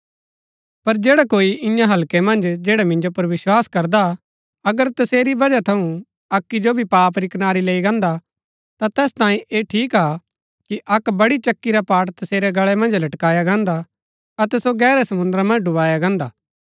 पर जैडा कोई ईयां हल्कै मन्ज जैड़ै मिन्जो पुर विस्वास करदा अगर तसेरी बजह थऊँ अक्की जो भी पाप री कनारी लैई गान्दा ता तैस तांयें ऐह ठीक हा कि अक्क बड़ी चक्की रा पाट तसेरै गल्ळै मन्ज लटकाया गान्दा अतै सो गैहरै समुन्द्रा मन्ज डुबाया गान्दा